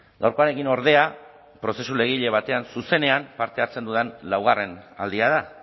gaurkoarekin ordea prozesu legegile batean zuzenean parte hartzen dudan laugarren aldia da